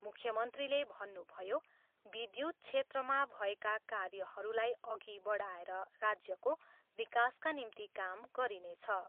मन्त्रीले भन्नुभयो, विद्युत क्षेत्रमा भएका कार्यहरूलाई अघि बढाएर राज्यको विकासका निम्ति काम गरिनेछ।